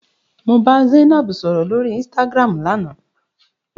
Mo bá Zainab sọ̀rọ̀ lóri Instagram lánàá.